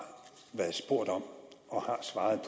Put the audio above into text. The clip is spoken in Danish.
svaret